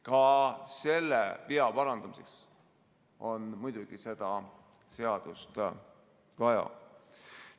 Ka selle vea parandamiseks on muidugi seda seadust vaja.